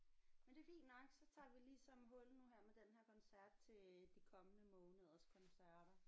Men det er fint nok så tager vi ligesom hul nu her med den her koncert til de kommende måneders koncerter